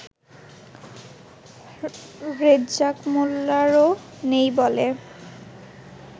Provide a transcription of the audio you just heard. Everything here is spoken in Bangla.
রেজ্জাক মোল্লারও নেই বলে